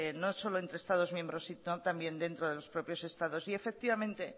no solo entre estados miembros sino también dentro de los propios estados y efectivamente